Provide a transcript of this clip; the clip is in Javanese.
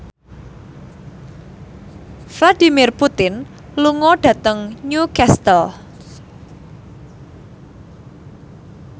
Vladimir Putin lunga dhateng Newcastle